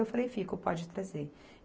Eu falei, fico, pode trazer.